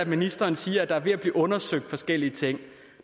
ministeren siger at der er ved at blive undersøgt forskellige ting